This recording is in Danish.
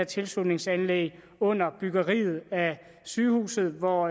tilslutningsanlægget under byggeriet af sygehuset hvor